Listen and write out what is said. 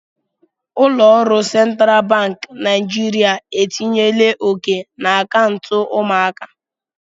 Ụlọ ọrụ Central Bank Naijiria etinyela oke na akaụntụ ụmụaka.